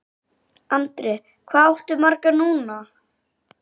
Andri: Hvað áttu marga núna?